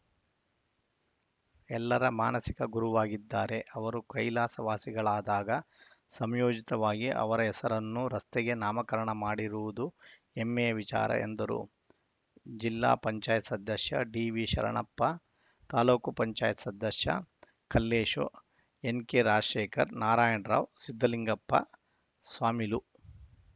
ಎಲ್ಲರ ಮಾನಸಿಕ ಗುರುವಾಗಿದ್ದಾರೆ ಅವರು ಕೈಲಾಸವಾಸಿಗಳಾದಾಗ ಸಮಯೋಚಿತವಾಗಿ ಅವರ ಹೆಸರನ್ನು ರಸ್ತೆಗೆ ನಾಮಕರಣ ಮಾಡಿರುವದು ಹೆಮ್ಮೆಯ ವಿಚಾರ ಎಂದರು ಜಿಲ್ಲಾ ಪಂಚಾಯತ್ ಸದಸ್ಯ ಡಿವಿಶರಣಪ್ಪ ತಾಲೂಕ್ ಪಂಚಾಯತ್ ಸದಸ್ಯ ಕಲ್ಲೇಶ್‌ ಎನ್‌ಕೆರಾಜಶೇಖರ್‌ ನಾರಾಯಣ್‌ರಾವ್‌ ಸಿದ್ದಲಿಂಗಪ್ಪ ಸ್ವಾಮಿಲು